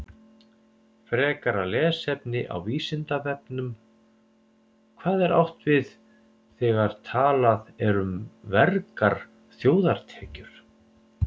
Frekara lesefni á Vísindavefnum: Hvað er átt við þegar talað er um vergar þjóðartekjur?